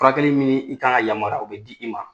Furakɛli ni i ka yamariya o be di i ma.